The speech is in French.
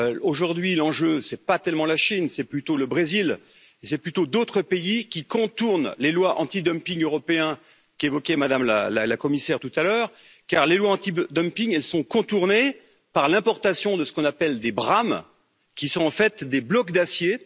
Aujourd'hui, l'enjeu, ce n'est pas tellement la Chine, c'est plutôt le Brésil et d'autres pays qui contournent les lois anti dumping européen qu'évoquait Madame la Commissaire tout à l'heure, car les lois anti dumping sont contournées par l'importation de ce qu'on appelle des brames, qui sont en fait des blocs d'acier.